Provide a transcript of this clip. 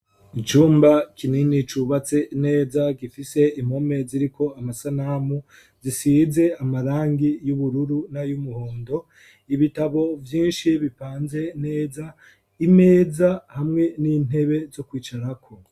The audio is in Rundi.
icumba kinini cubatse neza, gifise impome ziriko amasanamu, zisize amarangi y'ubururu na y'umuhondo, ibitabo vyinshi bipanze neza, imeza hamwe n'intebe zo kwicara ko.